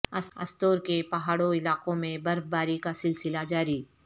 استورکے پہاڑوں علاقوں میں برف باری کا سلسلہ جاری